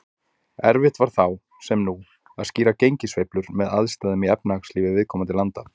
Erfitt var þá, sem nú, að skýra gengissveiflur með aðstæðum í efnahagslífi viðkomandi landa.